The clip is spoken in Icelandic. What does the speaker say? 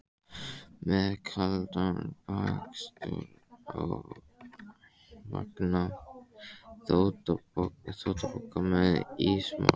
Með kaldan bakstur á vanga, þvottapoka með ísmolum.